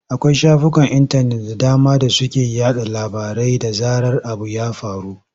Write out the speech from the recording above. Akwai shafukan intanet da dama da suke yaɗa labarai da zarar abu ya faru.